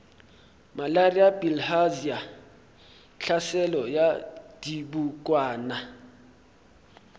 malaria bilharzia tlhaselo ya dibokwana